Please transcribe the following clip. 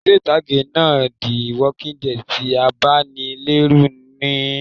Eré ìtàgé náà "the walking dead" ti abanilẹ́rù níí se